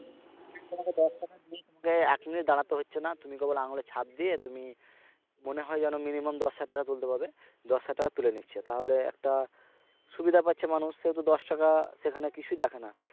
ঠিক তোমাকে দশটা minute দেয় এক minute দাঁড়াতে হচ্ছে না তুমি কেবল আঙুলের ছাপ দিয়ে তুমি মনে হয় যেন minimum দশ হাজার টাকা তুলতে পারবে দশ হাজার টাকা তুলে নিচ্ছে তাহলে একটা সুবিধা পাচ্ছে মানুষ সেহেতু দশ টাকা সেখানে কিছুই দেখে না